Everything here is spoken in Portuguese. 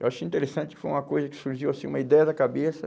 Eu achei interessante que foi uma coisa que surgiu assim, uma ideia da cabeça.